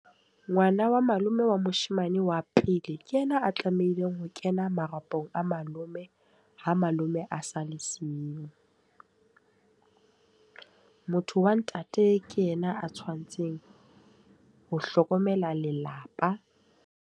Ngwana wa malome wa moshemane wa pele ke yena a tlamehileng ho kena marapong a malome ha malome a sa le siyo. Motho wa ntate ke yena a tshwantseng ho hlokomela lelapa.